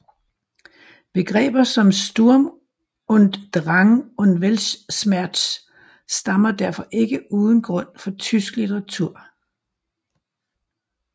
Begreber som Sturm und Drang og Weltschmerz stammer derfor ikke uden grund fra tysk litteratur